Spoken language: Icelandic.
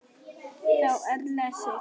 Þá er lesið